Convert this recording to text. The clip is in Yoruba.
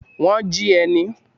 Wọ́n jí ẹ ni?